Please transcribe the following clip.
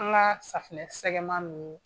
An ka safunɛ sɛgɛman ninnu